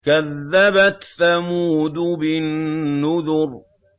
كَذَّبَتْ ثَمُودُ بِالنُّذُرِ